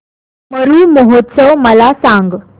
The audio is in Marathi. मरु महोत्सव मला सांग